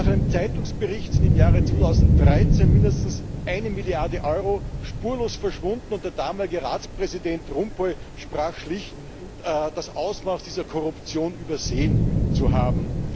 Nach einem Zeitungsbericht ist im Jahr 2013 mindestens eine Milliarde Euro spurlos verschwunden, und der damalige Ratspräsident van Rompuy sprach schlicht davon, das Ausmaß dieser Korruption übersehen zu haben.